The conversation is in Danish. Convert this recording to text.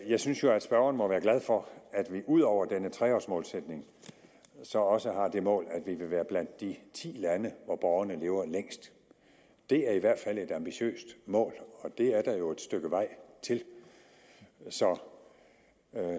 jeg synes jo at spørgeren må være glad for at vi ud over denne tre års målsætning så også har det mål at vi vil være blandt de ti lande hvor borgerne lever længst det er i hvert fald et ambitiøst mål og det er der jo et stykke vej til så